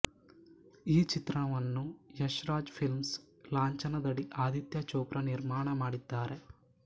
ಈ ಚಿತ್ರವನ್ನು ಯಶ್ ರಾಜ್ ಫ಼ಿಲ್ಮ್ಸ್ ಲಾಂಛನದಡಿ ಆದಿತ್ಯ ಚೋಪ್ರಾ ನಿರ್ಮಾಣ ಮಾಡಿದ್ದಾರೆ